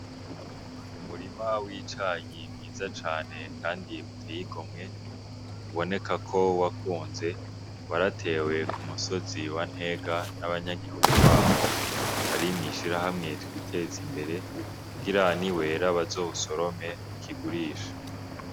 Umurima w'icayi mwiza cane kandi uteye igomwe ubonekako wakunze waratewe ku musozi wa Ntega nabanyagihugu baho bari mw'ishirahamwe twiteze imbere kugira ni wera bazowusorome bakigurishe.